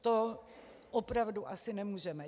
To opravdu asi nemůžeme.